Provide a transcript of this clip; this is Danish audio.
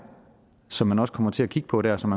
som man også kommer til at kigge på der og som